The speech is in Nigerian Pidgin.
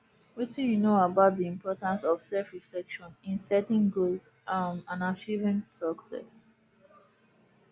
wetin you know about di importance of selfreflection in setting goals um and achieving success